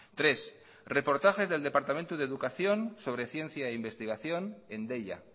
tres reportajes del departamento de educación sobre ciencia e investigación en deia